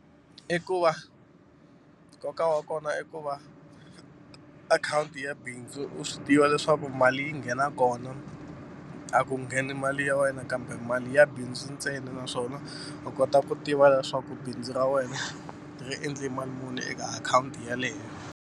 I ku va nkoka wa kona i ku va akhawunti ya bindzu u swi tiva leswaku mali yi nghena kona a ku ngheni mali ya wena kambe mali ya bindzu ntsena naswona u kota ku tiva leswaku bindzu ra wena ri endle mali muni eka akhawunti yaleyo.